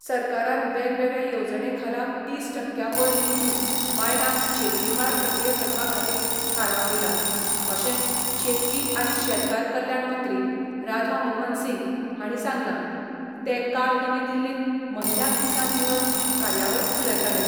सरकारान वेगवेगळे येवजणे खाला तीस टकक्यावयर निधी बायलांक शेतकी मळार सक्रिय करपाखातीर थारावन दिला, अशें शेतकी आनी शेतकार कल्याण मंत्री राधा मोहन सिंग हाणी सांगलां ते काल नवी दिल्लींत महिला किसान दिवस कार्यावळींत उलयताले.